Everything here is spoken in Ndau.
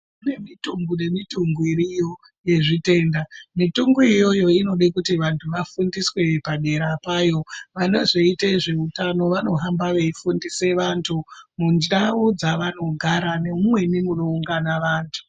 Kunemitungu nemitungu iriyo yezvitenda mitungu iyoyo inode kuti vantu vafundiswe paderapayo. Vanozoite zveutano vanohamba veifundise vantu mundau dzavanogara nemumweni munoungana vantu.